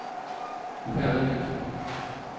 Upernavik